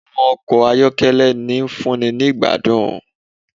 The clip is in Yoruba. Àwọn ọkọ ayọ́kẹ́lẹ́, ń fúnni ni ìgbádùn